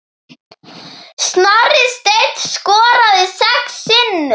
Snorri Steinn skoraði sex sinnum.